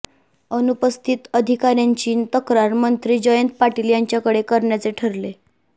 अनुपस्थित अधिकाऱ्यांची तक्रार मंत्री जयंत पाटील यांच्याकडे करण्याचे ठरले